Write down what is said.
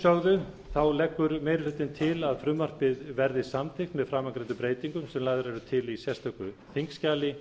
að þessu sögðu leggur meiri hlutinn til að frumvarpið verði samþykkt með framangreindum breytingum sem lagðar eru til í sérstöku þingskjali